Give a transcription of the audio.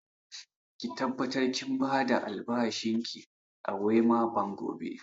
Ki tabbatar kin ba da albashin ki a Wema Bank gobe!